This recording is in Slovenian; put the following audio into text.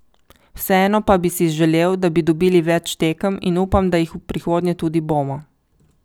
Vseeno pa bi si želel, da bi dobili več tekem in upam, da jih v prihodnje tudi bomo.